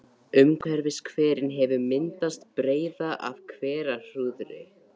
Umhverfis hverinn hefur myndast breiða af hverahrúðri.